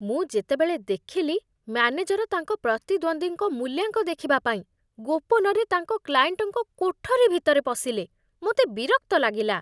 ମୁଁ ଯେତେବେଳେ ଦେଖିଲି ମ୍ୟାନେଜର ତାଙ୍କ ପ୍ରତିଦ୍ୱନ୍ଦ୍ୱୀଙ୍କ ମୂଲ୍ୟାଙ୍କ ଦେଖିବା ପାଇଁ ଗୋପନରେ ତାଙ୍କ କ୍ଲାଏଣ୍ଟଙ୍କ କୋଠରୀ ଭିତରେ ପଶିଲେ, ମୋତେ ବିରକ୍ତ ଲାଗିଲା।